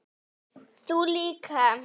Þú líka.